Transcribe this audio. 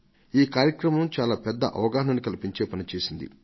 ఈ కార్యక్రమం చాలా పెద్ద అవగాహనను కల్పించే పనిచేసింది